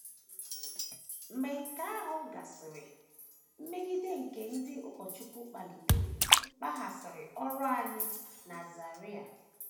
Mgbe nke ahụ gasịrị, mmegide nke ndị ụkọchukwu kpalitere kpaghasịrị ọrụ anyị na Zaire.